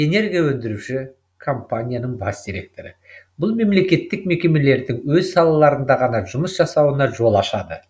энергоөндіруші компанияның бас директоры бұл мемлекеттік мекемелердің өз салаларында ғана жұмыс жасауына жол ашады